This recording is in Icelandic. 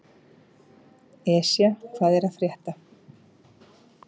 Esja, hvað er að frétta?